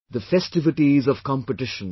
The festivities of competitions